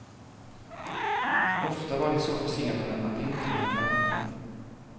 Ofta var de så försenade att de inte hann kallna.